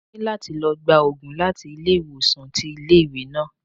Mo ní láti lọ gba Ògùn láti ilé ìwòsàn tí ilé ìwé náà.